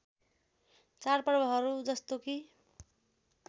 चाडपर्वहरू जस्तो कि